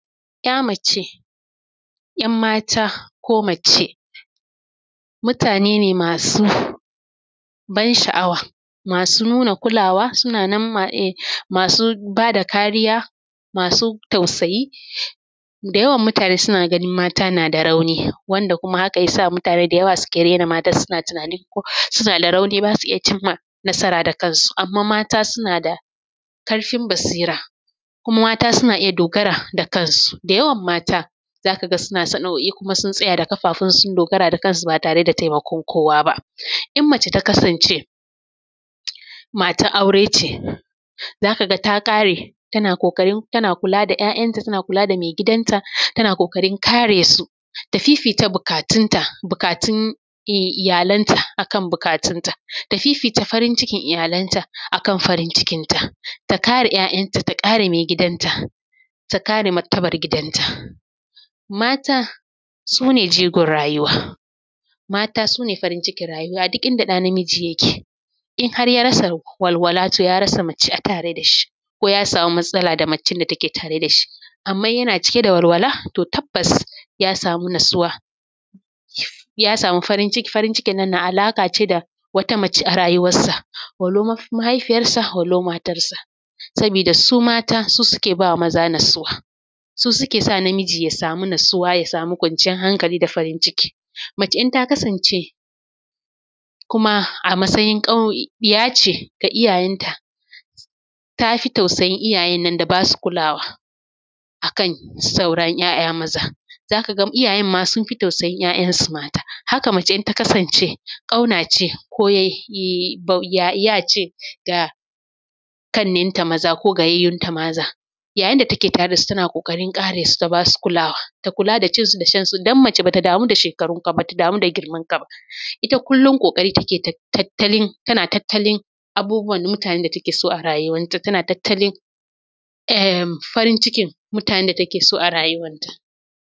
‘Ya mace za ka ga mace mu yi magana kan yadda ake rage ƙiba cikin sauri da hanyoyi masu lafiya da farko yana da kyau a rage yawan kuzari da ake ci wato a dena cin abinci fiye da buƙatan ciki, misali a rage kayan zaƙi. Abinci mai kitse da abubuwa wasu da abubuwan sha masu sikari, abu na gaba shi ne motsa jiki ko da ba za a iya zuwa a jin ba, ana iya yin yawo mai sauri ko hawa matakala don ƙona kitse wato wata hanya kuma me tasiri ita ce azumin litini ten fast wato yin azumi na awanni goma sha shida. Sannan a ci abinci cikin awanni takwas kacal, wanna yana taimaka ma jiki amfani da kitse a matsayin matakaci hakan nan yana da mahinamci a samu isashen bacci, rashin bacci na iya hana rage ƙiba don haka a tabbatar ana samun a ƙalla awani bakwai zuwa takwas na bacci. Daga ƙarshe a guji cin abinci masu sarrafawa kamar kayan gishiri da kyan zaƙi kuma a fi mayar da hankali kan abinci na halitta kaman kayan lambu da kayan itatuwa, ku cigaba da sauraran mu don ƙarin shawarwari akan lafiya. Mata su ne jigon rayuwa, mata su ne walwalar rayuwa tana tattatalin farin cikin mutanen da suke so a rayuwarta.